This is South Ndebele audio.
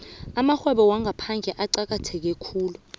amarhwebo wangaphandle acakatheke khulu